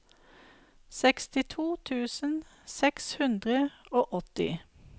sekstito tusen seks hundre og åtti